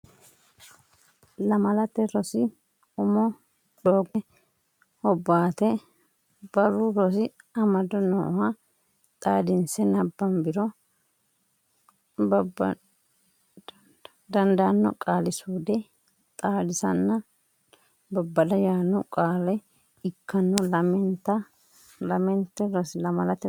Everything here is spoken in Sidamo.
Lamalate Rosi Umo Doogote Hobbaate Barru Rosi Amado nooha xaadinse nabbambiro dandaanno Qaali suude xaadisanna babbada yaanno qaale ikkanno Lamalate Rosi.